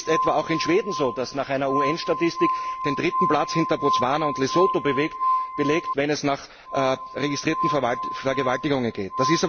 Das ist etwa auch in Schweden so, das nach einer UN Statistik den dritten Platz hinter Botswana und Lesotho belegt, wenn es nach registrierten Vergewaltigungen geht.